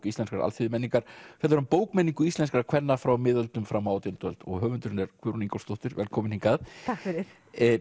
íslenskrar alþýðumenningar fjallar um bókmenningu íslenskra kvenna frá miðöldum fram á átjándu öld og höfundurinn er Guðrún Ingólfsdóttir velkomin hingað takk fyrir